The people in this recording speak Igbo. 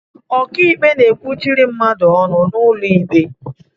Ọkịikpe na-ekwuchiri mmadụ ọnụ n'ụlọ ikpe